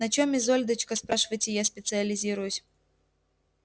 на чем изольдочка спрашиваете я специализируюсь